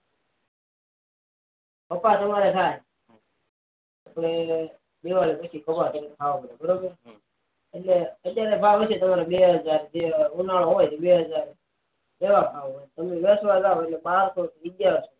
કપાસ અમારે થા એટલે કે ગરે ખાવાનું હોય એટલે કે એના ભાવ બે હજાર હોય ત્રણ હજાર હોય કે પાંચ હજાર હોય